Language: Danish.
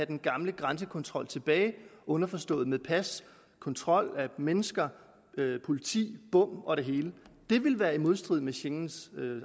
den gamle grænsekontrol underforstået med pas kontrol af mennesker politi bom og det hele det vil være i modstrid med schengens